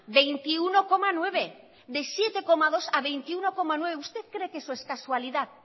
hogeita bat koma bederatzi de zazpi koma bi a hogeita bat koma bederatzi usted cree que eso es casualidad